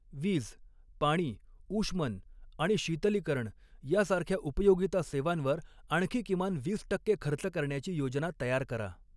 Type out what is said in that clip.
वीज, पाणी, ऊष्मन आणि शीतलीकरण यासारख्या उपयोगिता सेवांवर आणखी किमान वीस टक्के खर्च करण्याची योजना तयार करा.